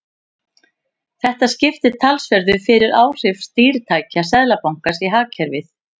Þetta skiptir talsverðu fyrir áhrif stýritækja Seðlabankans á hagkerfið.